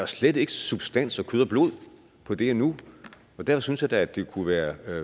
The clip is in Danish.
slet ikke substans og kød og blod på det endnu og derfor synes jeg da det kunne være